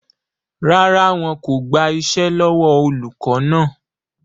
Rárá, wọn kò gbà iṣẹ́ lọ́wọ́ olùkọ́ náà